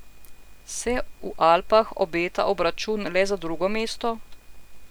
Se v Alpah obeta obračun le za drugo mesto?